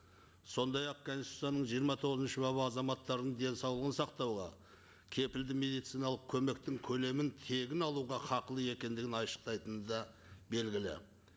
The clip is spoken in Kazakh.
сондай ақ конституцияның жиырма тоғызыншы бабы азаматтардың денсаулығын сақтауға кепілді медициналық көмектің көлемін тегін алуға хақылы екендігін айшықтайтыны да белгілі